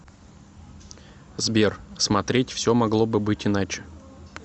сбер смотреть все могло бы быть иначе